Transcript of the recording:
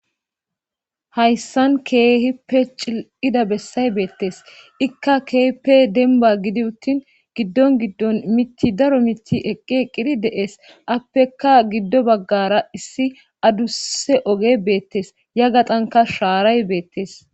Hayssan keehi pe cil7ida bessay beettes ikka keepe denba gidi uttin giddon giddon miti daro mitti eqqe qiri de7es appeka giddo baggara issi adusse oge beettes ya gaxanka shaaray beettes.